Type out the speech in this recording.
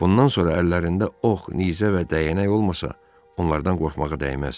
Bundan sonra əllərində ox, nizə və dəyənək olmasa, onlardan qorxmağa dəyməz.